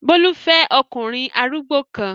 Bólú fẹ́ ọkùnrin arúgbó kan.